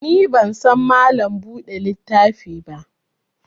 Ni ban san Mallam buɗe littafi ba